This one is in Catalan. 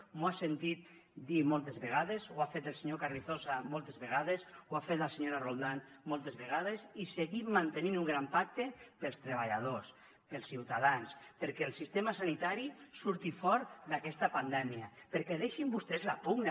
m’ho ha sentit dir moltes vegades ho ha fet el senyor carrizosa moltes vegades ho ha fet la senyora roldán moltes vegades i seguim mantenint un gran pacte per als treballadors per als ciutadans perquè el sistema sanitari surti fort d’aquesta pandèmia perquè deixin vostès la pugna